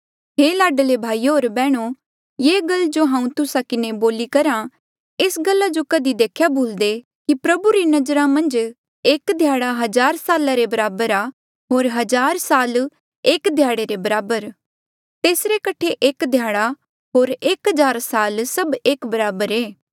हे लाडले भाईयो होर बैहणो ये गल जो हांऊँ तुस्सा किन्हें बोली करहा कि एस गल्ला जो कधी देखेया भुलदे कि प्रभु री नजरा मन्झ एक ध्याड़ा हजार साला रे बराबर आ होर हजार साल एक ध्याड़े रे बराबर तेसरे कठे एक ध्याड़ा होर एक हजार साल सभ एक बराबर ऐें